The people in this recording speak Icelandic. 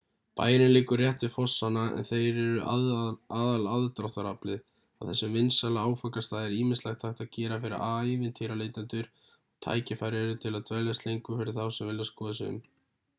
bærinn liggur rétt við fossana en þeir eru aðalaðdráttaraflið á þessum vinsæla áfangastað er ýmislegt hægt að gera fyrir ævintýraleitendur og tækifæri eru til að dveljast lengur fyrir þá sem vilja skoða sig um